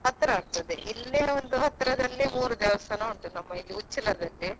ಹತ್ರ ಆಗ್ತದೆ ಇಲ್ಲೇ ಒಂದು ಹತ್ರದಲ್ಲಿ ಮೂರು ದೇವಸ್ಥಾನ ಉಂಟು ನಮ್ಮ ಇದು Uchila ದಲ್ಲಿ.